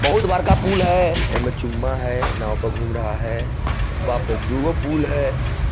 बहुत बड़का पुल है एमे है नाव प घूम रहा है बाप रे दुगो पुल है।